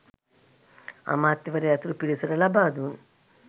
අමාත්‍යවරයා ඇතුළු පිරිසට ලබාදුන්